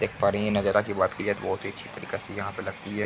देख पा रहे है ये नजारा की बात की जाए तो बहुत ही अच्छी तरीका से यहाँ पे लगती है।